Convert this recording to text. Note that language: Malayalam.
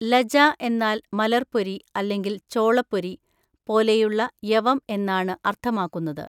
ലജ എന്നാൽ മലര്‍പ്പൊരി അല്ലെങ്കിൽ ചോളപ്പൊരി പോലെയുള്ള യവം എന്നാണ് അർത്ഥമാക്കുന്നത്.